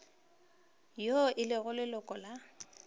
yo e lego leloko la